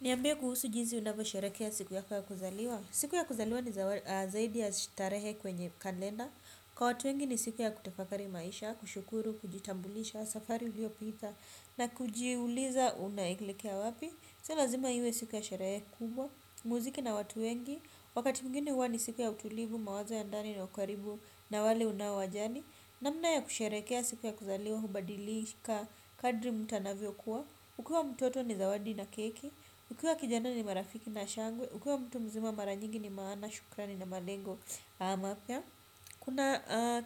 Niyambie kuhusu jinsi unapo sherekea siku ya kwa kuzaliwa. Siku ya kuzaliwa ni zaidi ya shitarehe kwenye kalenda. Kwa watu wengi ni siku ya kutafakari maisha, kushukuru, kujitambulisha, safari huyo pita. Na kujiuliza unaelekea wapi. Si lazima iwe siku ya sherehe kubwa. Muziki na watu wengi. Wakati mgine huwa ni siku ya utulivu, mawazo ya ndani na ukaribu na wale unawajani. Namna ya kusherekea siku ya kuzaliwa hubadili ka kadri mutu anavyo kuwa ukiwa mtoto ni zawadi na keki. Ukiwa kijana ni marafiki na shangwe. Ukiwa mtu mzima marajingi ni maana. Shukrani na malengo.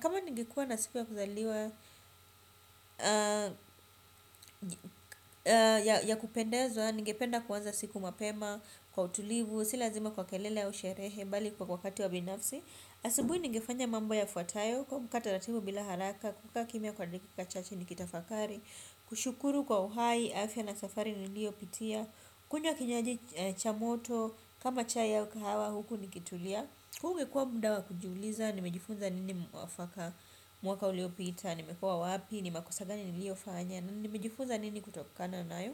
Kama ningekuwa na sikuwa kuzaliwa ya kupendezwa. Ningependa kuwanza siku mapema. Kwa utulivu. Sila zima kwa kelele au sherehe. Balikwa kwa wakati wa binafsi. Asubui ningefanya mambo yafuatayo. Kwamka taratibu bila haraka. Kuka kimia kwa dakika chache ni kitafakari. Kushukuru kwa uhai afia na safari nilio pitia. Kunywa kinyuaji chamoto, kama chai ya wakawa huku nikitulia huu ungekua mdawa kujuliza, nimejifunza nini mwafaka mwaka ulio pita, nimekua wapi, nima kosagani nilio fahanya. Nimejifunza nini kutokana na yo.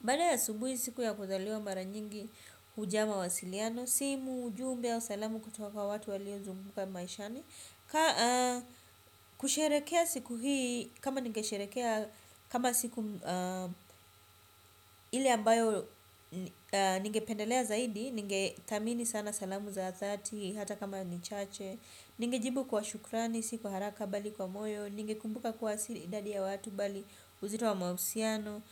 Bada ya asubuhi siku ya kuzaliwa mara nyingi hujama wa siliano. Simu, ujumbe, au salamu kutoka wa watu walio zunguka maishani. Kwa kusherekea siku hii kama nige sherekea kama siku ili ambayo ningependelea zaidi. Ngetamini sana salamu za thelathini hata kama ni chache. Ninge jibu kwa shukrani siku haraka bali kwa moyo. Ninge kumbuka kuwa siri idadi ya watu bali uzito wa mausiano.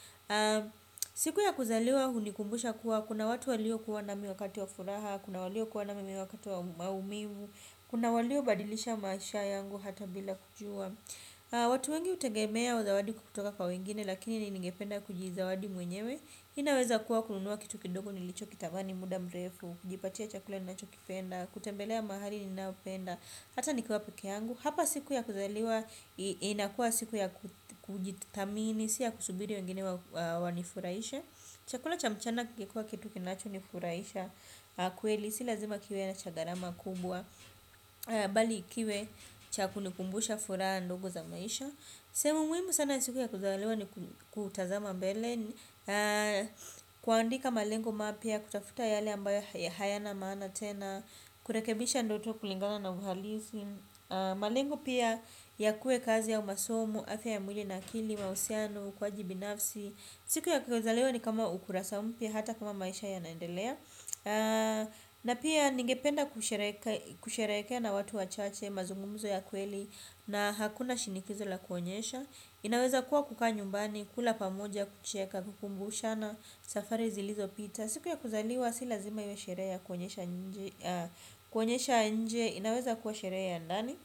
Siku ya kuzaliwa hunikumbusha kuwa kuna watu walio kuwa nami wakati wa furaha. Kuna walio kuwa na mi wakati wa maumivu. Kuna walio badilisha maisha yangu hata bila kujua. Watu wengi utegemea wa zawadi kukutoka kwa wengine lakini ningependa kuji zawadi mwenyewe. Inaweza kuwa kununua kitu kidogo nilicho kitamani muda mrefu. Kujipatia chakula ninachokipenda, kutembelea mahali ninapenda. Hata nikuwa peke yangu. Hapa siku ya kuzaliwa, inakuwa siku ya kujitamini, siya kusubiri wengine wanifuraishe. Chakula cha mchana kingekuwa kitu kinacho nifuraisha. Kueli, si lazima kiwe cha chagarama kubwa bali kiwe chakuni kumbusha furaa ndogo za maisha semu muwimu sana siku ya kuzalewa ni kutazama mbele kuandika malengo ma pia kutafuta yale ambayo ya hayana maana tena kurekebisha ndoto kulingana na uhalisi malengo pia ya kue kazi au masomo afya ya mwili na kili mausiano ukuwaji binafsi siku ya kuzalewa ni kama ukurasa mpia hata kama maisha yanaendelea na pia nige penda kushereka kushereke na watu wachache, mazungumuzo ya kweli na hakuna shinikizo la kuonyesha inaweza kuwa kukaa nyumbani, kula pamoja, kucheka, kukumbushana safari zilizo pita siku ya kuzaliwa, si lazima iwe sherea kuonyesha nje inaweza kuwa sherea ya ndani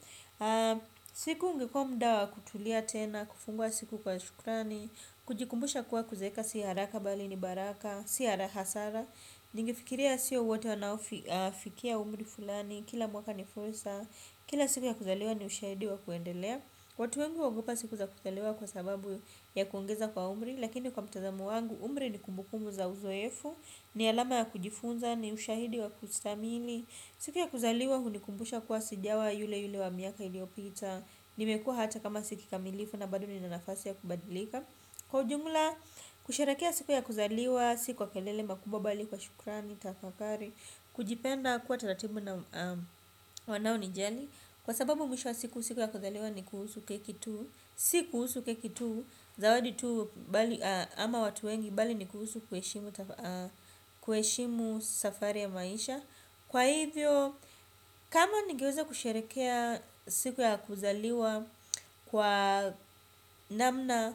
siku ungekuwa mdawa kutulia tena, kufungua siku kwa shukrani kujikumbusha kuwa kuzeka, si haraka bali ni baraka si hara hasara. Ningfikiria siyo wate wanaofikia umri fulani. Kila mwaka nifursa. Kila siku ya kuzaliwa ni ushahidi wa kuendelea. Watu wengi huogopa siku za kuzaliwa kwa sababu ya kuongeza kwa umri. Lakini kwa mtazamo wangu umri ni kumbukumbu za uzoefu. Ni alama ya kujifunza ni ushahidi wa kustamili. Siku ya kuzaliwa hunikumbusha kuwa sijawa yule yule wa miaka iliopita. Nimekuwa hata kama si kikamilifu na bado nina nafasi ya kubadilika. Kwa ujumula, kusherehekea siku ya kuzaliwa, si kwa kelele makubwa bali kwa shukrani, tafakari, kujipenda kuwa taratibu na wanao nijali. Kwa sababu mwisho wa siku ya kuzaliwa ni kuhusu keki tu, si kuhusu keki tu, zawadi tu ama watu wengi bali ni kuhusu kuheshimu safari ya maisha. Kwa hivyo kama ningeweza kusherekea siku ya kuzaliwa kwa namna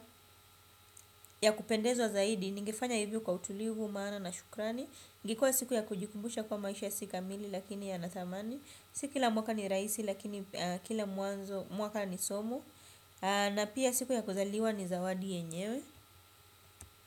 ya kupendezwa zaidi. Ningefanya hivyo kwa utulivu maana na shukrani ingekuwa siku ya kujikumbusha kuwa maisha si kamili lakini yana thamani. Si kila mwaka ni rahisi lakini kila mwaka ni somo. Na pia siku ya kuzaliwa ni zawadi yenyewe.